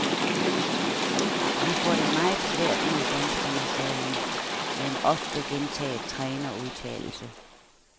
Vi får det meget svært mod danskerne, sagde han med en ofte gentaget trænerudtalelse.